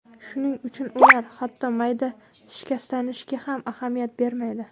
Shuning uchun ular, hatto mayda shikastlanishga ham ahamiyat bermaydi.